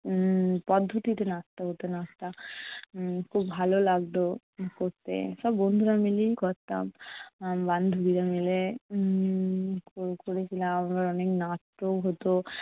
উম পদ্ধতিতে নাচতে হতো নাচটা। উম খুব ভালো লাগতো করতে। সব বন্ধুরা মিলেই করতাম। আহ বান্ধবীরা মিলে উম ক~ করেছিলাম আবার অনেক নাচতেও হতো